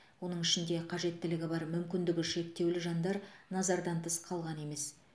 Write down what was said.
оның ішінде қажеттілігі бар мүмкіндігі шектеулі жандар назардан тыс қалған емес